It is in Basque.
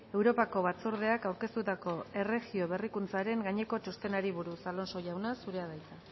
europako batzordeak aurkeztutako erregio berrikuntzaren gaineko txostenari buruz alonso jauna zurea da hitza